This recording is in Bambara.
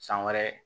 San wɛrɛ